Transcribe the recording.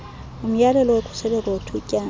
umyalelo wokhuseleko wethutyana